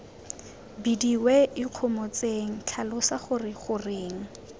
bidiwe ikgomotseng tlhalosa gore goreng